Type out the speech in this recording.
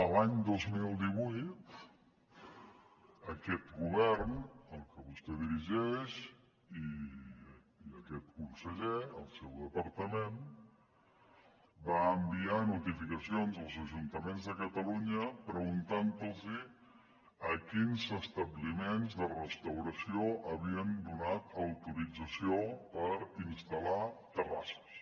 l’any dos mil divuit aquest govern el que vostè dirigeix i aquest conseller el seu departament va enviar notificacions als ajuntaments de catalunya preguntant a quins establiments de restauració havien donat autorització per instal·lar terrasses